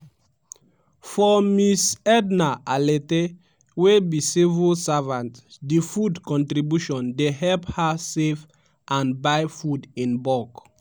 for ms ednah alete wey be civil servant di food contribution dey help her save and buy food in bulk